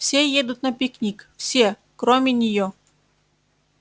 все едут на пикник все кроме неё